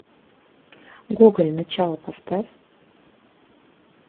гоголь начало поставь